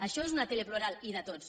això és una tele plural i de tots